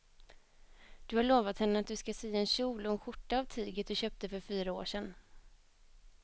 Du har lovat henne att du ska sy en kjol och skjorta av tyget du köpte för fyra år sedan.